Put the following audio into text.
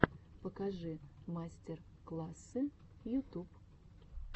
покажи мастер классы ютуб